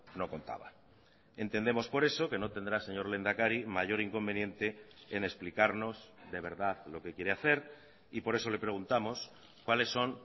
no contaba entendemos por eso que no tendrá señor lehendakari mayor inconveniente en explicarnos de verdad lo que quiere hacer y por eso le preguntamos cuáles son